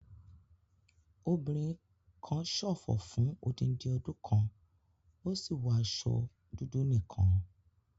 Obìnrin kan ṣòfò fún odindi ọdún kan, ó sì wọ àwọn aṣọ dúdú nìkan.